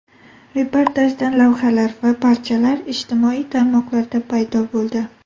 Reportajdan lavhalar va parchalar ijtimoiy tarmoqlarda paydo bo‘ldi.